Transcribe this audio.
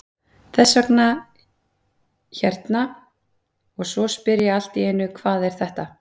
Þess vegna hérna og svo spyr ég allt í einu hvað er þetta?